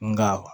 Nka